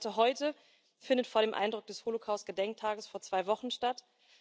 Die Debatte heute findet vor dem Eindruck des Holocaust Gedenktages vor zwei Wochen statt.